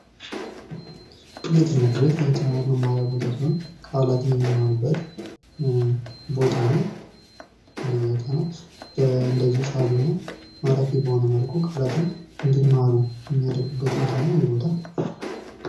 ይህ ትምህርት ቤት የህፃናት መማርያ ቦታ ሲሆን ቃላትን የሚማሩበት ቦታ ነው ። እና ለህፃናት እንደዚህ ሳቢ እና ማራኪ በሆነ መልኩ ቃላትን እንዲማሩ የሚያደርጉበት ቦታ ነው ይህ ቦታ ።